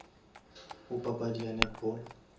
go papadi ya netball